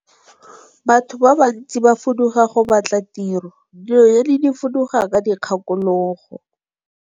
Batho ba bantsi ba fuduga go batla tiro, dinonyane di fuduga ka dikgakologo.